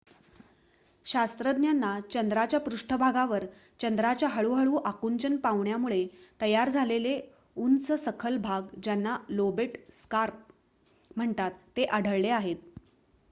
शास्त्रज्ञांना चंद्राच्या पृष्टभागावर चंद्राच्या हळूहळू आकुंचन पावण्यामुळे तयार झालेले उंच सखल भाग ज्यांना लोबेट स्कार्प म्हणतात ते आढळले आहेत